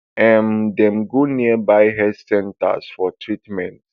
um dem go nearby health centres for treatment